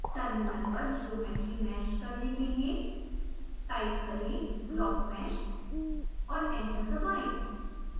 terminal पर geometry mesh करने के लिए टाइप करें blockmesh और एंटर दबाएं